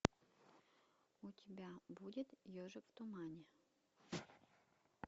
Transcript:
у тебя будет ежик в тумане